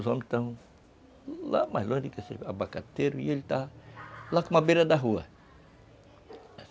Os homens estavam lá mais longe do abacateiro e ele estava lá com uma beira da rua.